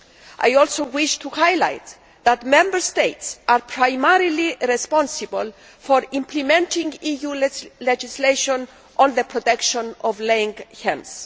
I also wish to highlight that Member States are primarily responsible for implementing EU legislation on the protection of laying hens.